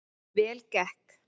Vel gekk